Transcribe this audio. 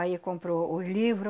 Aí comprou o livro.